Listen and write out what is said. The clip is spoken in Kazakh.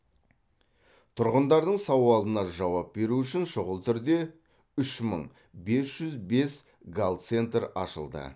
тұрғындардың сауалына жауап беру үшін шұғыл түрде үш мың бес жүз бес гал центр ашылды